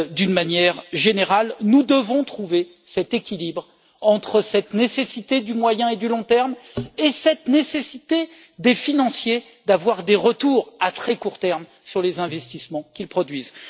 D'une manière générale, nous devons trouver cet équilibre entre cette nécessité du moyen et du long terme et celle des financiers, d'avoir des retours à très court terme sur les investissements qu'ils produisent.